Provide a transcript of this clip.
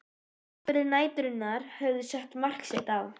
Atburðir næturinnar höfðu sett mark sitt á